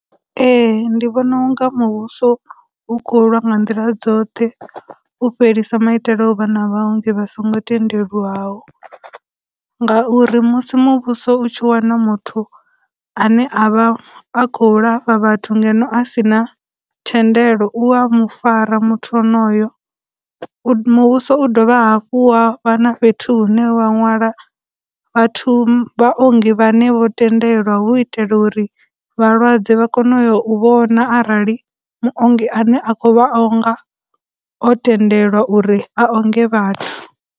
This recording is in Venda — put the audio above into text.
Ee, ndi vhona unga muvhuso u khou lwa nga nḓila dzoṱhe u fhelisa maitele a uvha na vharengi vha songo tendelwaho, ngauri musi muvhuso u tshi wana muthu ane a vha a khou lafha vhathu ngeno a sina tshendelo u a mufarwa muthu onoyo, muvhuso u dovha hafhu wa vha na fhethu hune wa nwala vhathu, vhaongi vhane vho tendelwa hu u itela uri vhalwadze vha kone u ya u vhona arali muongi ane a khou vha o nga o tendelwa uri a onge vhathu.